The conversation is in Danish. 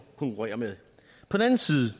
konkurrerer med